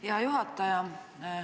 Hea juhataja!